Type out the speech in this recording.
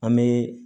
An bɛ